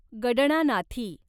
गडणानाथी